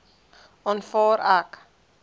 aanvaar ek